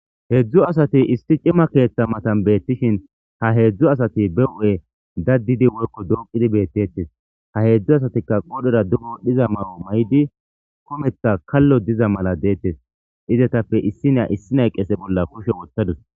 heedzdzu asati isti cima keeththa matan beettishin ha heedzdzu asati be o7e daddidi woykko dooqidi beettettes ha heedzdzu asatikka qodhera duro dhiza ma7o may7di kometha kallo diza mala deettes izetappe issinea issi nay qese bolla kushe wottadus